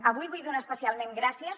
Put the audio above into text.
avui vull donar especialment gràcies